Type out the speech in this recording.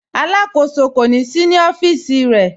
Alákọsọ kò sí ní ọfiíṣì rẹ̀.